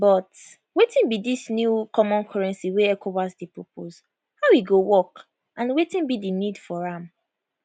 but wetin be dis new common currency wey ecowas dey propose how e go work and wetin be di need for am